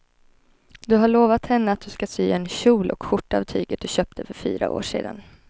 Du har lovat henne att du ska sy en kjol och skjorta av tyget du köpte för fyra år sedan.